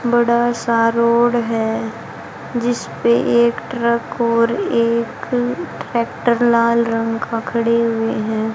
बड़ा सा रोड है जिसपे एक ट्रक और एक ट्रैक्टर लाल रंग का खड़े हुए हैं।